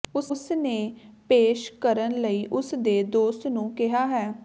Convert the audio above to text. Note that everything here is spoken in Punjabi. ਉਸ ਨੇ ਪੇਸ਼ ਕਰਨ ਲਈ ਉਸ ਦੇ ਦੋਸਤ ਨੂੰ ਕਿਹਾ ਹੈ